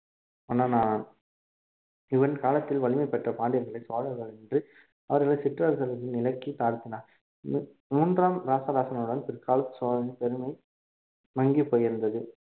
மன்னனானான் இவன் காலத்தில் வலிமை பெற்ற பாண்டியர்கள் சோழர்களை என்று அவர்களை சிற்றர்கள் நிலைக்கு தாத்தினர் மூ~ மூன்றாம் ராசராசனுடன் பிற்கால சோழரின் பெருமை மங்கி போயிருந்தது